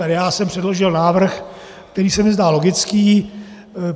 A já jsem předložil návrh, který se mi zdá logický.